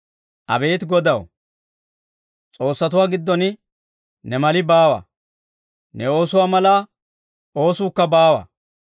Abeet Godaw, s'oossatuwaa giddon ne mali baawa; ne oosuwaa mala oosuukka baawa.